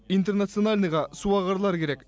интернациональныйға суағарлар керек